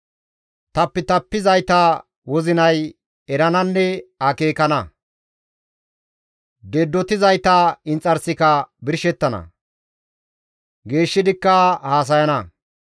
Tapitapizayta wozinay erananne akeekana; Deddotizayta inxarsika birshettana; geeshshidikka haasayana.